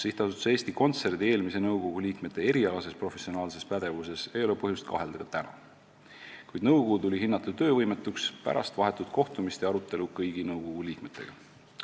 " Sihtasutuse Eesti Kontsert eelmise nõukogu liikmete erialases professionaalses pädevuses ei ole põhjust kahelda ka täna, kuid nõukogu tuli hinnata töövõimetuks pärast vahetut kohtumist ja arutelu kõigi nõukogu liikmetega.